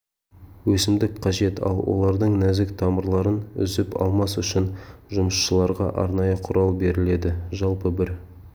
өсімдік қажет ал олардың нәзік тамырларын үзіп алмас үшін жұмысшыларға арнайы құрал беріледі жалпы бір